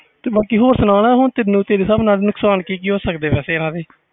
ਬਾਕੀ ਤੂੰ ਸੁਣਾ ਹੋਰ ਤੇਰੇ ਹਿਸਾਬ ਨਾਲ ਨੁਕਸਾਨ ਕਿ ਕਿ ਹੋ ਸਕਦੇ ਆ